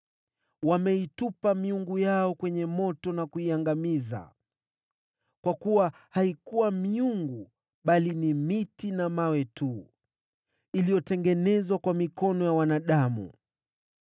Wameitupa miungu yao kwenye moto na kuiangamiza, kwa kuwa haikuwa miungu, bali miti na mawe tu iliyotengenezwa kwa mikono ya wanadamu.